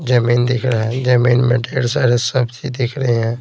जमीन दिख रहा है जमीन में ढ़ेर सारे सब्जी दिख रहे हैं।